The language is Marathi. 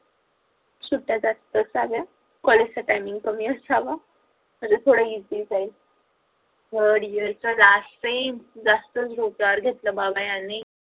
सुट्ट्या जास्तच झाल्या college च timing कमी असावं म्हणजे थोडं easy जाईल third year च last sem जास्तच डोक्यावर घेतल बाबा यांनी